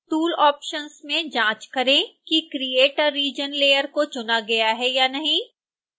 tool options में जाँच करें कि create a region layer को चुना गया है या नहीं